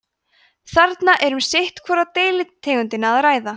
þarna er um sitt hvora deilitegundina að ræða